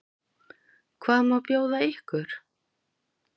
Hvað má bjóða ykkur?